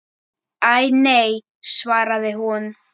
Æ, nei svaraði hún.